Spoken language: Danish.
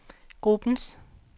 gruppens